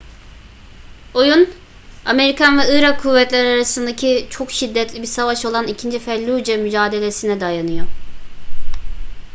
oyun amerikan ve irak kuvvetleri arasındaki çok şiddetli bir savaş olan i̇kinci felluce mücadelesi'ne dayanıyor